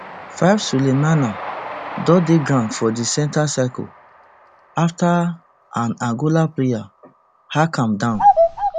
fivesulemena don dey ground for di center circle afta an angola player hack am down